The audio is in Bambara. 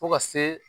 Fo ka se